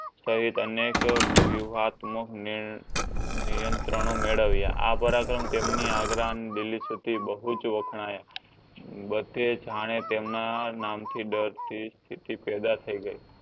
સહિત અનેક વિવાદ નિયંત્રણો મેડવ્યા આ પરાક્રમ તેમની આગ્રામદિલઇસુથી બહુજ વખણાઈ બધે તેમના નામ થી ડારતી સ્તિથિ પેદા થઈ ગઈ